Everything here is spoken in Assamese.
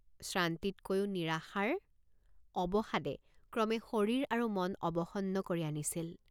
শ্ৰান্তিতকৈও নিৰাশাৰ অৱসাদে ক্ৰমে শৰীৰ আৰু মন অবসন্ন কৰি আনিছিল।